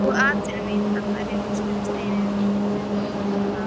Og atvinna mín: að berja hausnum við steininn í